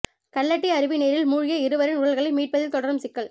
கல்லட்டி அருவி நீரில் மூழ்கிய இருவரின் உடல்களை மீட்பதில் தொடரும் சிக்கல்